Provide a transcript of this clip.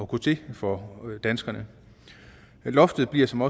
gå til for danskerne loftet bliver som